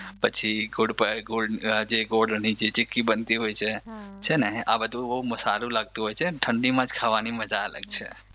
પછી જે ગુડ ગોળની જે ચીક્કી બનતી હોય છે છે ને આ બધું સારું લાગતું હોય છે અને ઠંડીમાં જ ખાવાની મજા અલગ છે